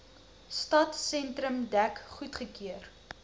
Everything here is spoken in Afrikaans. stadsentrum dek goedgekeur